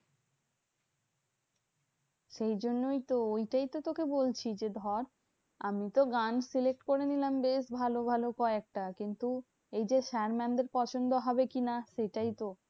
সেই জন্যেই তো ঐটাইতো তোকে বলছি। যে ধর, আমিতো গান select করে নিলাম বেশ ভালো ভালো কয়েকটা। কিন্তু এই যে sir mam দের পছন্দ হবে কি না সেটাইতো?